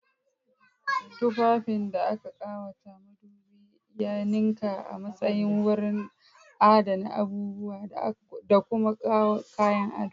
Tufafin da aka ƙawata madubi ya ninka a matsayin wurin adana abubuwa da kuma kayan ado.